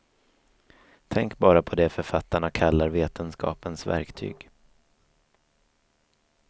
Tänk bara på det författarna kallar vetenskapens verktyg.